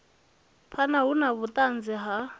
phana hu na vhuanzi ha